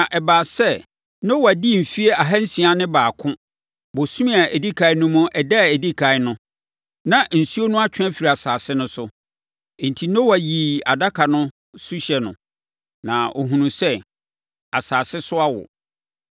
Na ɛbaa sɛ Noa dii mfeɛ ahansia ne baako, bosome a ɛdi ɛkan no mu ɛda a ɛdi ɛkan no, na nsuo no atwe afiri asase no so. Enti, Noa yii adaka no suhyɛ no, na ɔhunuu sɛ, asase so awo.